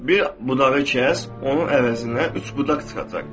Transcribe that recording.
Bir budağı kəs, onun əvəzinə üç budaq çıxacaq.